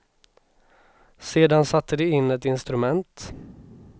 Sedan satte de in ett instrument.